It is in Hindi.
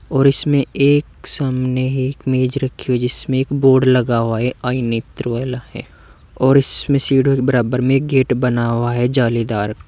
और इसमें एक सामने एक मेज रखी हुई है जिसमें एक बोर्ड लगा हुआ है। ये आई नेत्र वाला है और इसमें सीढ़ियों के बराबर में एक गेट बना हुआ है जालीदार।